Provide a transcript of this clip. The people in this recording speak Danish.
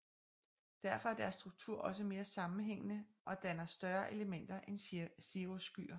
Derfor er deres struktur også mere sammenhængende og danner større elementer end cirrusskyer